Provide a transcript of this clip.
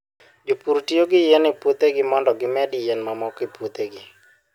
Jopur tiyo gi yien e puothegi mondo gimed yien mamoko e puothegi.